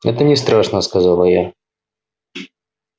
это не страшно сказала я